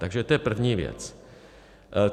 Takže to je první věc.